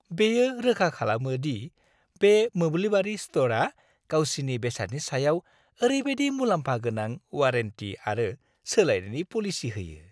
बेयो रोखा खालामो दि बे मोब्लिबारि स्ट'रआ गावसिनि बेसादनि सायाव ओरैबादि मुलाम्फा गोनां वारेन्टी आरो सोलायनायनि पलिसि होयो।